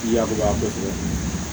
Yakuba kɛ